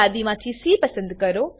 યાદી માંથી સી પસંદ કરો